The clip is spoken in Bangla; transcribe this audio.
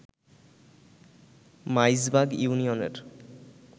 মাইজবাগ ইউনিয়নের